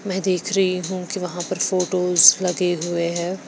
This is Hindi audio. मैं देख रही हूं कि वहां पर फोटोस लगे हुए हैं।